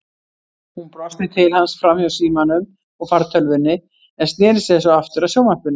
Hún brosti til hans framhjá símanum og fartölvunni en sneri sér svo aftur að sjónvarpinu.